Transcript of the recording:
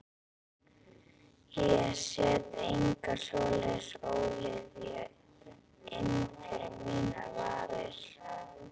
Ég set enga svoleiðis ólyfjan inn fyrir mínar varir.